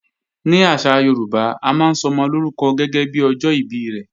Ní àṣà Yorùbá, a máa ń sọmọ lórúkọ gẹ́gẹ́bí ọjọ́ ìbí rẹ̀